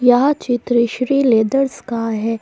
यह चित्र श्री लेदर्स का है।